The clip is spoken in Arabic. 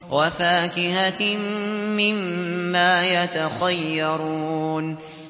وَفَاكِهَةٍ مِّمَّا يَتَخَيَّرُونَ